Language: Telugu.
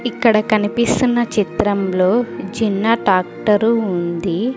ఇక్కడ కనిపిస్తున్న చిత్రంలో చిన్న టాక్టరు ఉంది.